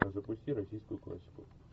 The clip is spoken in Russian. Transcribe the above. запусти российскую классику